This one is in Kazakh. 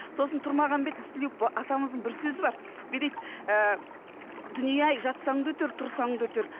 сосын тұрмағамбет ізтілеуов атамыздың бір сөзі бар дейді ііі дүние ай жастаң да өтер тұрсаң өтер